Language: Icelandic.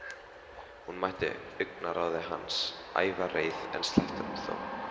Hún mætti augnaráði hans, ævareið, en sleppti honum þó.